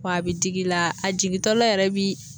W' bi dig'i la a jigitɔla yɛrɛ bi